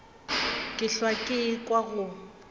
ke hlwa ke ekwa go